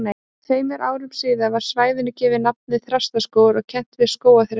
Tveimur árum síðar var svæðinu gefið nafnið Þrastaskógur og kennt við skógarþresti.